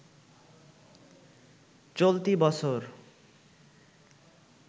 চলতি বছর